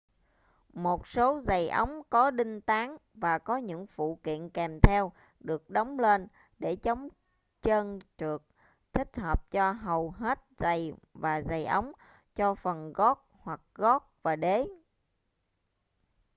một số giày ống có đinh tán và có những phụ kiện kèm theo được đóng lên để chống trơn trượt thích hợp cho hầu hết giày và giày ống cho phần gót hoặc gót và đế